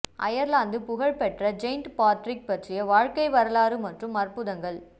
Ireland புகழ்பெற்ற saint Patrick பற்றிய வாழ்க்கை வரலாறு மற்றும் அற்புதங்கள்